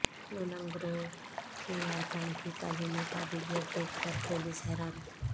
cloning گروہ کے ارکان کی تعلیمی قابلیت دیکھ کر پولیس حیران